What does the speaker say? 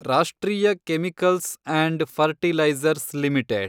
ರಾಷ್ಟ್ರೀಯ chemicals and fertilizers limited